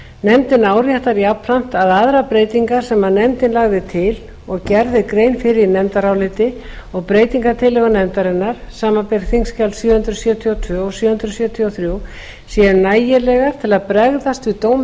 nefndin áréttar jafnframt að aðrar breytingar sem nefndin lagði til og gerð er grein fyrir í nefndaráliti og breytingartillögum nefndarinnar samanber þingskjal sjö hundruð sjötíu og tvö og sjö hundruð sjötíu og þrjú séu nægilegar til að bregðast við dómi